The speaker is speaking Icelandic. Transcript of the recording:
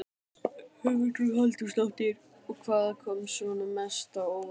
Hugrún Halldórsdóttir: Og hvað kom svona mest á óvart?